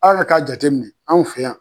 A yɛrɛ k'a jate minɛ an fɛ yan